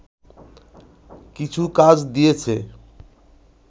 কিছু কাজ দিয়েছে